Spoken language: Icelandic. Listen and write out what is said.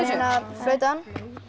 flautan